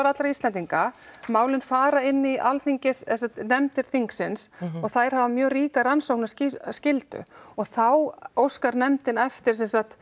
allra Íslendinga málin fara inn í nefndir þingsins og þær hafa mjög ríka rannsóknarskyldu og þá óskar nefndin eftir